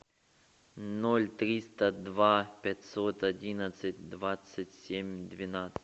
ноль триста два пятьсот одиннадцать двадцать семь двенадцать